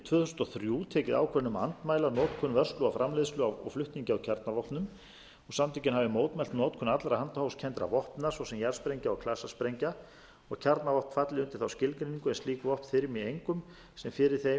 tvö þúsund og þrjú tekið ákvörðun um að andmæla notkun vörslu framleiðslu og flutningi á kjarnavopnum og samtökin hafi mótmælt notkun allra handahófskenndra vopna svo sem jarðsprengna og klasasprengna og kjarnavopn falli undir þá skilgreiningu en slík vopn þyrmi engum sem fyrir þeim eða